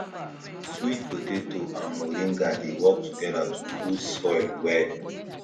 sweet potato and moringa dey work together to boost soil well